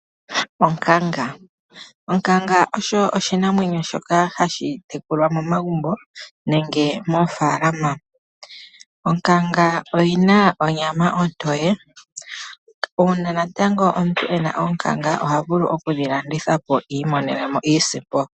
Onkanga: onkanga oyo oshinamwenyo shoka hashi tekulwa momagumbo, nenge moofaalama. Onkanga oyi na onyama ontoye, uuna natango omuntu ena onkanga, ohavulu okudhi landithapo iimonebemo iisimpo.